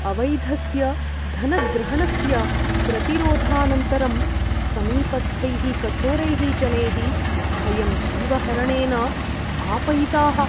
अवैधस्य धनग्रहणस्य प्रतिरोधानन्तरं समीपस्थैः कठोरैः जनैः वयं जीवहरणेन भापयिताः।